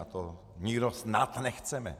A to nikdo snad nechceme.